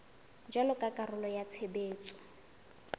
jwalo ka karolo ya tshebetso